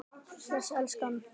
Bless elskan!